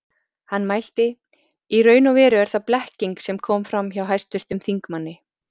Hann mælti: Í raun og veru er það blekking sem kom fram hjá hæstvirtum þingmanni